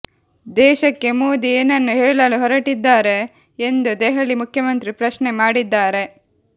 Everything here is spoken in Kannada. ದೇಶಕ್ಕೆ ಮೋದಿ ಏನನ್ನು ಹೇಳಲು ಹೊರಟಿದ್ದಾರೆ ಎಂದು ದೆಹಲಿ ಮುಖ್ಯಮಂತ್ರಿ ಪ್ರಶ್ನೆ ಮಾಡಿದ್ದಾರೆ